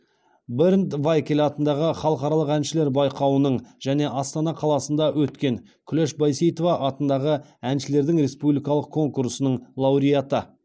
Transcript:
бернд вайкель атындағы халықаралық әншілер байқауының және астана қаласынды өткен күләш байсейітова атындағы әншілердің республикалық конкурсының лауреаты